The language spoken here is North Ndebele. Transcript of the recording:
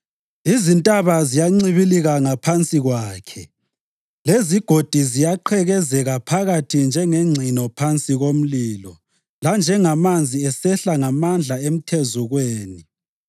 Izintaba ziyancibilika ngaphansi kwakhe, lezigodi ziyaqhekezeka phakathi njengengcino phansi komlilo, lanjengamanzi esehla ngamandla emthezukweni.